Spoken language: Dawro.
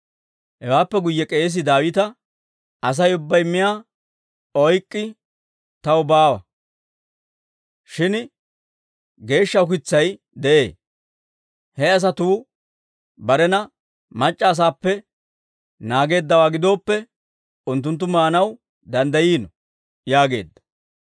Hewaappe guyye k'eesii Daawita, «Asay ubbay miyaa ukitsay taw baawa; shin geeshsha ukitsay de'ee; he asatuu barena mac'c'a asappe naageeddawaa gidooppe, unttunttu maanaw danddayiino» yaageedda.